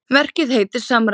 Verkið heitir Samræða.